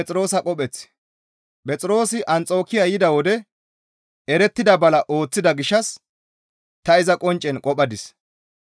Phexroosi Anxokiya yida wode erettida bala ooththida gishshas ta iza qonccen qophadis.